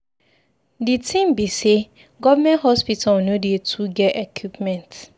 Di tin be sey government hospital no dey too get equipment.